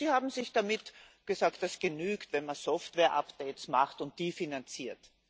Sie haben sich damit begnügt, zu sagen, dass es genügt, wenn man Software Updates macht und die finanziert.